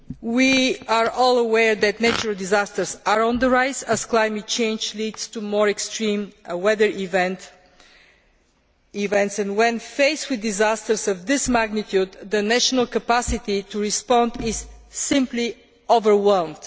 We are all aware that natural disasters are on the rise as climate change leads to more extreme weather events, and when faced with disasters of this magnitude, the national capacity to respond is simply overwhelmed.